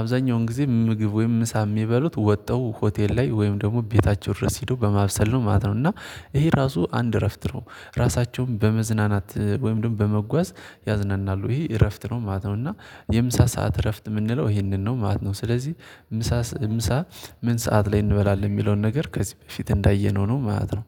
አብዛኛውን ጊዜ ምግብ ወይም ምሳ የሚበሉት ወጠው ሆቴል ላይ ወይም ደግሞ ቤታቸው ድረስ ሄዶ በማብሰል ነው ማለት ነው። እና ይሄ ራሱ አንድ እረፍት ነው። ራሳቸውን በመዝናናት ወይም ደግሞ በመጓዝ ያዝናናሉ ይሄ እረፍት ነው ማለት ነው። እና የምሳ ሰዓት እረፍት የምንለው ይሄንን ነው ማለት ነው። ስለዚህ ምሳ ምሳ ምን ሰዓት ላይ እንበላለን የሚለውን ነገር ከዚህ በፊት እንዳየነው ነው ማለት ነው።